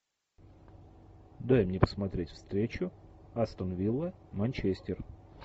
дай мне посмотреть встречу астон вилла манчестер